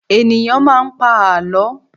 Ènìyàn máa ń pa àlọ́.